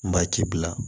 Maa ti bila